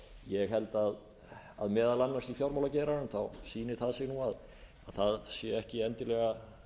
ég held að meðal annars í fjármálageiranum sýni það sig nú að það sé ekki endilega